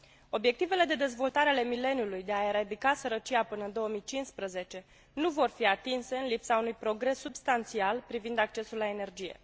Obiectivele de Dezvoltare ale Mileniului de a eradica sărăcia până în 2015 nu vor fi atinse în lipsa unui progres substanțial privind accesul la energie.